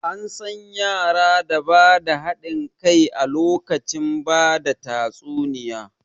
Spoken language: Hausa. An san yara da ba da haɗin kai a lokacin bada tatsuniya